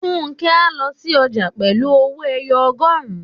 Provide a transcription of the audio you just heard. Fúnkẹ́ á lọ sí ọjà pẹ̀lú owó-ẹyọ ọgọrun